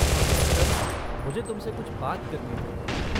दरअसल, मुझे तुमसे कुछ बात करनी थी।